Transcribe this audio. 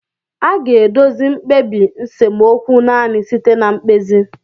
A ga-edozi mkpebi nsemokwu naanị site na mkpezi.